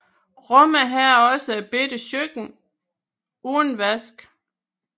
Rummet havde også et lille køkken uden vask